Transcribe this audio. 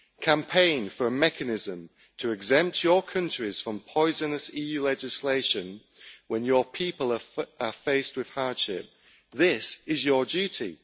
Campaign for a mechanism to exempt your countries from poisonous EU legislation when your people are faced with hardship. This is your duty.